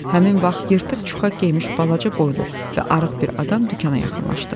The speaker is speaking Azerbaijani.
Həmin vaxt yırtıq çuxa geymiş balaca boylu və arıq bir adam dükana yaxınlaşdı.